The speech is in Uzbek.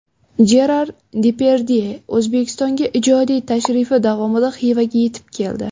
Jerar Depardye O‘zbekistonga ijodiy tashrifi davomida Xivaga yetib keldi.